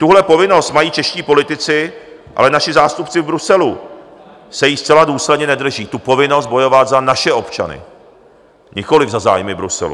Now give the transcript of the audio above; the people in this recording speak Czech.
Tuhle povinnost mají čeští politici, ale naši zástupci v Bruselu se jí zcela důsledně nedrží, tu povinnost bojovat za naše občany, nikoli za zájmy Bruselu.